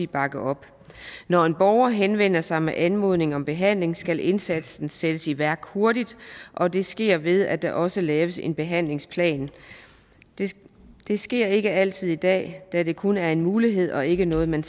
bakke op når en borger henvender sig med anmodning om behandling skal indsatsen sættes i værk hurtigt og det sker ved at der også laves en behandlingsplan det sker det sker ikke altid i dag da det kun er en mulighed og ikke noget man